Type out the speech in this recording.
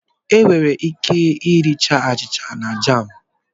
Enwere ike iri achịcha na jamú